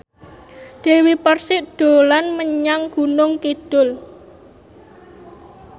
Dewi Persik dolan menyang Gunung Kidul